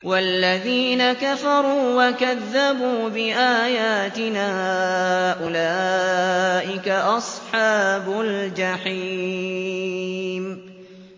وَالَّذِينَ كَفَرُوا وَكَذَّبُوا بِآيَاتِنَا أُولَٰئِكَ أَصْحَابُ الْجَحِيمِ